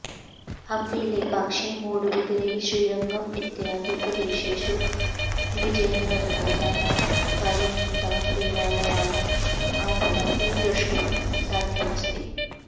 हम्पी लेपाक्षी मूडबिदरे श्रीरङ्गम् इत्यादि प्रदेशेषु विजयनगरराजानाम् काले निर्मितान् देवालयान् अधुनापि दृष्टुम् साध्यमस्ति